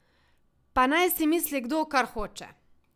Pa naj si misli kdo, kar hoče!